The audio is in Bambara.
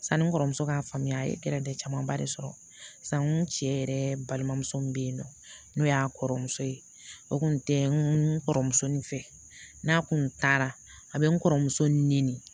Sani n kɔrɔmuso k'a faamuya a ye camanba de sɔrɔ sa n ko n cɛ yɛrɛ balimamuso min bɛ yen nɔ n'o y'a kɔrɔ muso ye o tun tɛ n kɔrɔmuso in fɛ n'a kun taara a bɛ n kɔrɔmuso ɲini